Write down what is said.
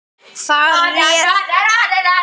Þar réð Valur ríkjum.